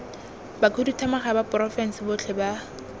bakhuduthamaga ba porofense botlhe ba